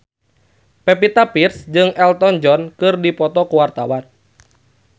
Pevita Pearce jeung Elton John keur dipoto ku wartawan